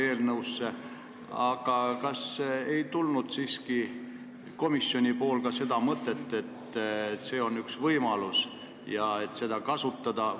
Kas siiski ei olnud ka komisjonis seda mõtet, et see on üks võimalus ja seda võiks kasutada?